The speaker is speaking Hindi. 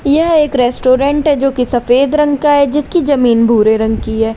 यह एक रेस्टोरेंट है जो कि सफेद रंग का है जिसकी जमीन भूरे रंग की है।